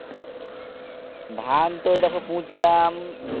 ধান তো এই দেখো পুতলাম